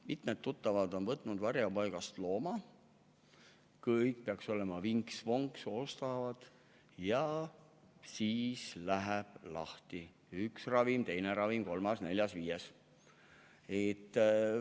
Mitmed tuttavad on võtnud varjupaigast looma, kõik peaks olema vinks-vonks, ostavad ära, ja siis läheb lahti: üks ravim, teine ravim, kolmas-neljas-viies.